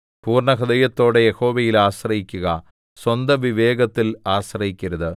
പൂർണ്ണഹൃദയത്തോടെ യഹോവയിൽ ആശ്രയിക്കുക സ്വന്ത വിവേകത്തിൽ ആശ്രയിക്കരുത്